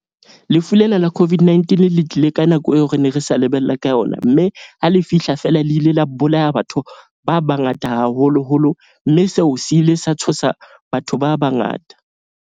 Lefu lena la COVID-19 le tlile ka nako eo, re ne re sa lebella ka yona. Mme ha le fihla fela le ile la bolaya batho ba bangata, haholoholo. Mme seo se ile sa tshosa batho ba bangata.